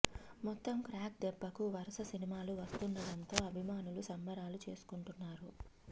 మొత్తం క్రాక్ దెబ్బకు వరుస సినిమాలు వస్తుండడం తో అభిమానులు సంబరాలు చేసుకుంటున్నారు